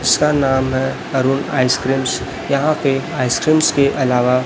उसका नाम है अरुण आइसक्रीम्स यहां पे आइसक्रीम्स के अलावा--